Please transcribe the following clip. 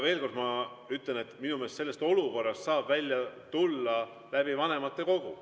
Veel kord ma ütlen, et minu meelest sellest olukorrast saab välja tulla vanematekogus.